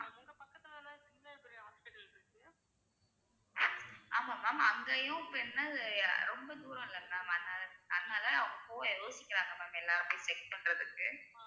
ஆமா ma'am அங்கேயும் இப்ப என்ன ரொம்ப தூரம்ல ma'am அதனால அதனால அவங்க போக யோசிக்கிறாங்க ma'am எல்லாரும் போய் check பண்றதுக்கு